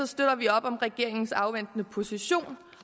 støtter vi op om regeringens afventende position